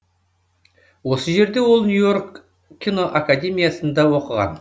осы жерде ол нью йорк киноакадемиясында оқыған